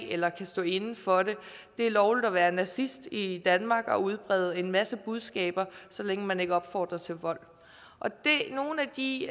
eller kan stå inde for det er lovligt at være nazist i danmark og udbrede en masse budskaber så længe man ikke opfordrer til vold nogle af de